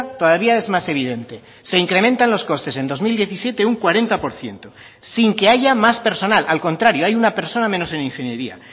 todavía es más evidente se incrementan los costes en dos mil diecisiete un cuarenta por ciento sin que haya más personal al contrario hay una persona menos en ingeniería